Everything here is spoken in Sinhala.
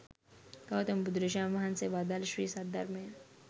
ගෞතම බුදුරජාණන් වහන්සේ වදාළ ශ්‍රී සද්ධර්මය